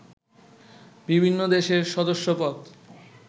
বিভিন্ন দেশের সদস্যপদ